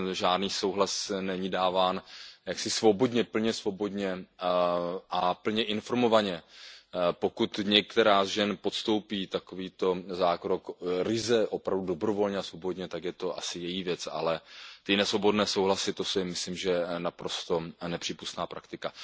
Žádný souhlas není dáván jaksi plně svobodně a plně informovaně. Pokud některá z žen podstoupí takovýto zákrok ryze opravdu dobrovolně a svobodně, tak je to asi její věc, ale ty nesvobodné souhlasy, to je, myslím, naprosto nepřípustná praktika.